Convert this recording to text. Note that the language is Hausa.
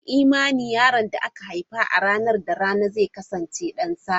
An yi imanin yaron da aka haifa a ranar da rana zai kasance don sa'a.